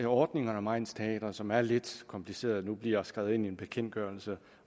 ordningen om egnsteatre som er lidt kompliceret nu bliver skrevet ind i en bekendtgørelse